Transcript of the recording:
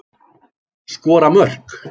Skora mörk.